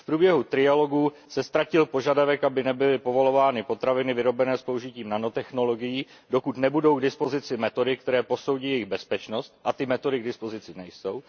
V průběhu trialogu se ztratil požadavek, aby nebyly povolovány potraviny vyrobené s použitím nanotechnologií, dokud nebudou k dispozici metody, které posoudí jejich bezpečnost, a ty metody k dispozici nejsou.